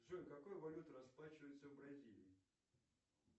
джой какой валютой расплачиваются в бразилии